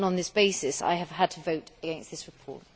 On this basis, I have had to vote against this report.